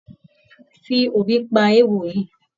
Fi òrí pa eéwo yìí.